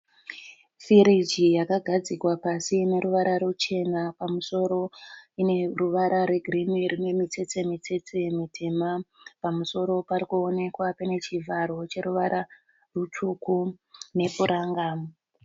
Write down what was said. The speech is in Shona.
Firiji yakagadzikwa pasi ineruvara ruchena. Pamusoro ineruvara rwe girinhi rine mitsetse mitsetse mutema. Pamusoro parikuonekwa pane chivharo cheruvara rutsvuku nepuranga.